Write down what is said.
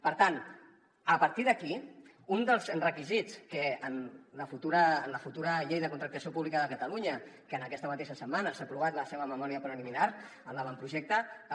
per tant a partir d’aquí un dels requisits que en la futura llei de contractació pública de catalunya que aquesta mateixa setmana s’ha aprovat la seva memòria preliminar en l’avantprojecte